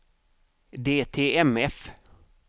DTMF